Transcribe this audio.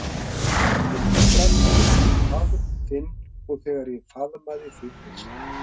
Ég fór strax að hugsa um faðm þinn og þegar ég faðmaði þig fyrst.